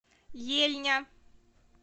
ельня